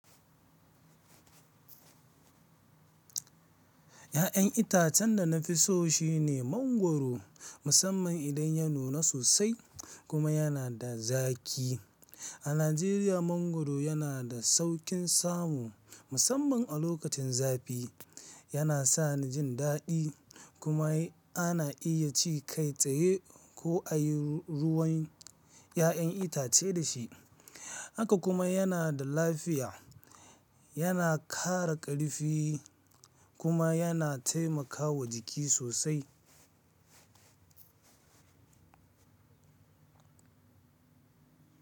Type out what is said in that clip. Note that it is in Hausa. Ya'yan itacen da na fi so shine mangwaro musamman idan ya nuna sosai kuma yana da zaƙi. A Najeriya mangwaro yana da sauƙin samu musamman a lokacin zafi. Yana sani jin daɗi kuma ana iya ci kai tsaye ko a yi ruwan ya'yan itace da shi. Haka kuma yana da lafiya, yana ƙara ƙarfi kuma yana taimakawa jiki sosai.